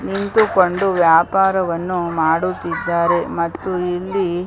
ನಿಂತುಕೊಂಡು ವ್ಯಾಪಾರವನ್ನು ಮಾಡುತಿದ್ದಾರೆ ಮತ್ತು ಇಲ್ಲಿ .